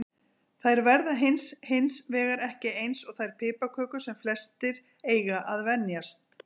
Þær verða hins hins vegar ekki eins og þær piparkökur sem flestir eiga að venjast.